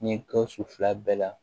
Ni gawusu fila bɛɛ la